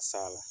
Sala